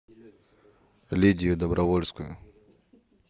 лидию добровольскую